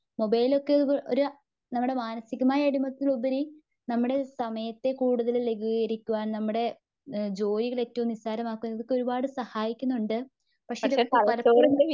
മൊബൈലൊക്കെ ഒരു നമ്മുടെ മാനസീകമായ ഒരു ഉപരി നമ്മുടെ സമയത്തെ കൂടുതൽ ലെഗുകാരിക്കുവാൻ. നമ്മുടെ ജോലികളൊക്കെ ഏറ്റവും നിസാരമാക്കുവാൻ ഇതൊക്കെ ഒരുപാട് സഹായിക്കുന്നുണ്ട്. പക്ഷെ ഇത് പലപ്പോഴും